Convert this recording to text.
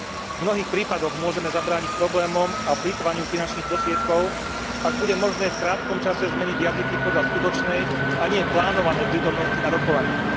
V mnohých prípadoch môžeme zabrániť problémom a plytvaniu finančných prostriedkov, ak bude možné v krátkom čase zmeniť jazyky podľa skutočnej, a nie plánovanej prítomnosti na rokovaniach.